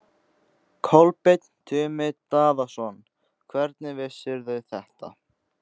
Kolbeinn Tumi Daðason: Hvernig vissirðu þetta?